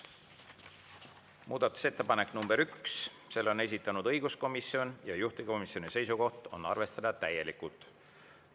Muudatusettepanek nr 1, selle on esitanud õiguskomisjon ja juhtivkomisjoni seisukoht on arvestada täielikult.